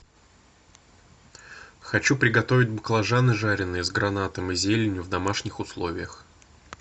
хочу приготовить баклажаны жаренные с гранатом и зеленью в домашних условиях